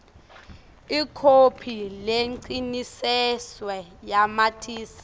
ikhophi lecinisekisiwe yamatisi